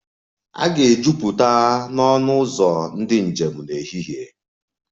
A ga-ejupụta ọnụ ụzọ ndị njem n'ehihie